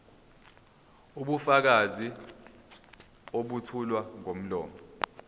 ubufakazi obethulwa ngomlomo